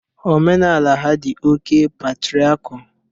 Omenala ha dị oké patriakial